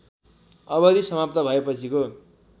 अवधि समाप्त भएपछिको